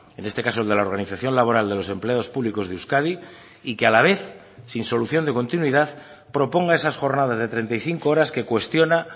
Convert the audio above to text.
en este caso el de la organización laboral de los empleados públicos de euskadi y que a la vez sin solución de continuidad proponga esas jornadas de treinta y cinco horas que cuestiona